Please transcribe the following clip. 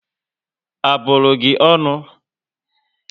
A bụrụ gị ọṅụ?